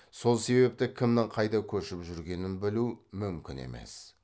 сол себепті кімнің қайда көшіп жүргенін білу мүмкін емес